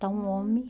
está um homem.